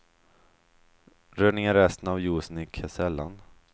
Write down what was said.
Rör ned resten av juicen i kesellan.